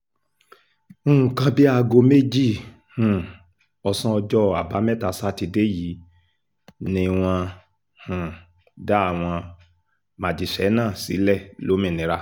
nǹkan bíi aago méjì um ọ̀sán ọjọ́ àbámẹ́ta sátidé yìí ni wọ́n um dá àwọn majíṣẹ́ náà sílẹ̀ lómìnira